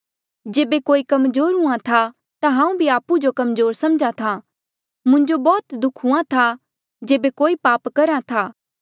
जेबे कोई कमजोर हूँआ था ता हांऊँ भी आपु जो कमजोर समझा था मुंजो बौह्त दुःख हुआं था जेबे कोई पाप करहा था